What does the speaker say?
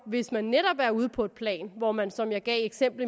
hvis man netop er ude på et plan hvor man sammenligner som jeg gav et eksempel